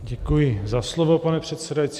Děkuji za slovo, pane předsedající.